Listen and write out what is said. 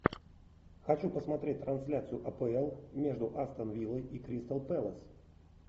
хочу посмотреть трансляцию апл между астон виллой и кристал пэлас